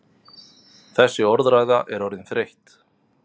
Þessi orðræða er orðin þreytt!